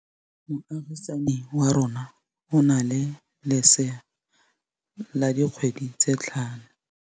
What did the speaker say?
Moagisane wa rona o na le lesea la dikgwedi tse tlhano.